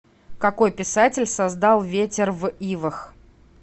какой писатель создал ветер в ивах